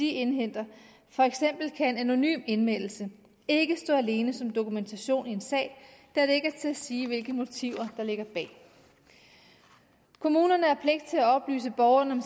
indhenter for eksempel kan en anonym anmeldelse ikke stå alene som dokumentation i en sag da det ikke er til at sige hvilke motiver der ligger bag kommunerne har pligt til at oplyse borgerne om